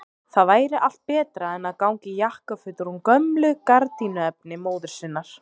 Það væri allt betra en að ganga í jakkafötum úr gömlu gardínuefni móður sinnar!